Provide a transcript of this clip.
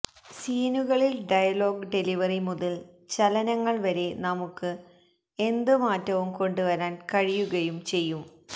സീനുകളിൽ dialogue delivery മുതൽ ചലനങ്ങൾ വരെ നമുക്ക് എന്ത് മാറ്റവും കൊണ്ടു വരാൻ കഴിയുകയും ചെയ്യും